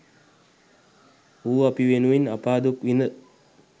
ඌ අපි වෙනුවෙන් අපා දුක් විඳ